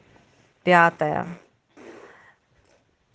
пятое